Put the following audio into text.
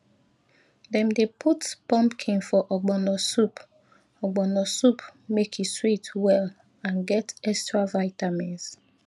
dem dey put pumpkin for ogbono soup ogbono soup make e sweet well and get extra vitamins